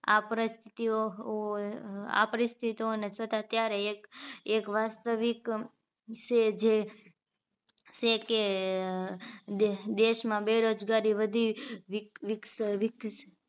આપ્રતિયો હોય આપ્રીતિતોને છતાં ત્યારે એક એક વાસ્તવિક છે જે છે કે અ દેશ દેશમાં બેરોજગારી વધી વિક વિક્સ વિક